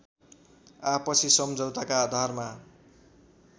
आपसी सम्झौताका आधारमा